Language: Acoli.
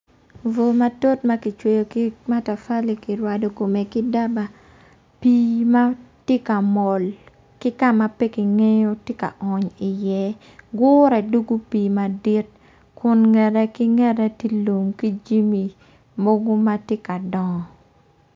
Vu matut ma kicweyo ki matafali kirwado kom ki daba pii ma tye ka mol ki kama pe kingeyo tye ka ony iye gure dwogo pii madit kun ngete ki ngete tye lum ki jami mogo matye ka dongo